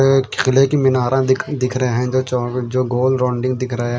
एक खिले कि में नारा दिख रहे है जो जो गोल रौन्डिंग दिख रहे है।